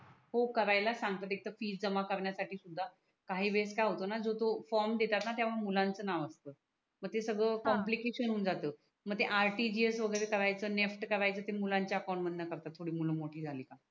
हो करायलाच सांगतात एक तर फी जमा करण्यासाठी सुद्धा काही वेळेस काय होतो णा जो तो फ्रॉम देतात णा तेव्हा मग मुलांच नाव असत मग हा ते सगड कॉम्प्लिकेशन हून जात मग ते RTGS वगेरे करायच NEFT करायच ते मुलांच्या अकाउन्ट मधून करतात थोड मूल मोठी झाली का